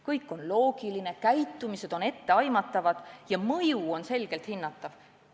Kõik on loogiline, käitumised on etteaimatavad ja mõju on selgelt hinnatav.